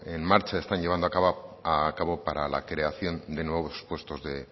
en marcha están llevando a cabo para la creación de nuevos puestos de